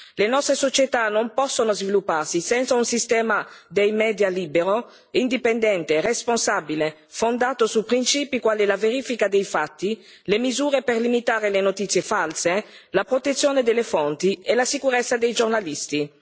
Le nostre società non possono svilupparsi senza un sistema dei media libero, indipendente, responsabile, fondato su principi quali la verifica dei fatti, le misure per limitare le notizie false, la protezione delle fonti e la sicurezza dei giornalisti.